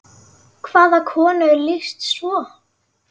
Hvaða konu er lýst svo?